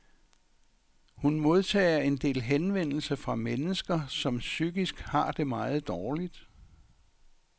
Hun modtager en del henvendelser fra mennesker, som psykisk har det meget dårligt.